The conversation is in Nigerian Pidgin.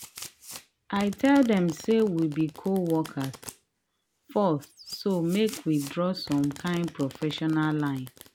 i tell dem say we be co-worker first so make we draw some kind professional line.